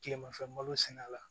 Tilemafɛ malo sɛnɛ la